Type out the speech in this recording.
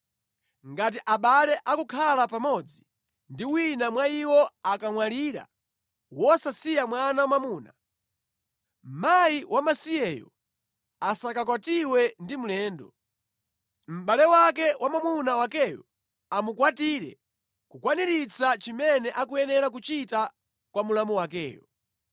Ngati abale akukhala pamodzi ndipo wina mwa iwo akamwalira wosasiya mwana wamwamuna, mkazi wamasiyeyo asakakwatiwe ndi mlendo. Mʼbale wake wa mwamuna wakeyo amukwatire kukwaniritsa chimene akuyenera kuchita kwa mlamu wakeyo.